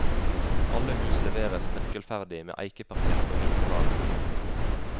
Alle hus leveres nøkkelferdig med eikeparkett og hvitevarer.